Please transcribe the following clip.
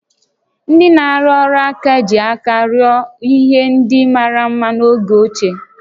Ndị na-arụ ọrụ aka ji aka rụọ ihe ndị mara mma n'oge ochie